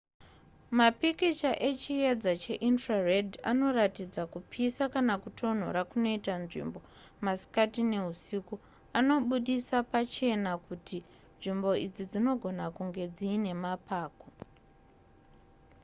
mapikicha echiedza cheinfrared anoratidza kupisa kana kutonhora kunoita nzvimbo masikati neusiku anobudisa pachena kuti nzvimbo idzi dzinogona kunge dziine mapako